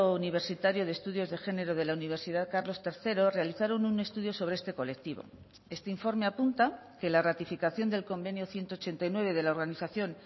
universitario de estudios de género de la universidad carlos tercero realizaron un estudio sobre este colectivo este informe apunta que la ratificación del convenio ciento ochenta y nueve de la organización